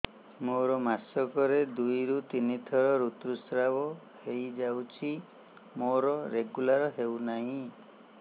ମୋର ମାସ କ ରେ ଦୁଇ ରୁ ତିନି ଥର ଋତୁଶ୍ରାବ ହେଇଯାଉଛି ମୋର ରେଗୁଲାର ହେଉନାହିଁ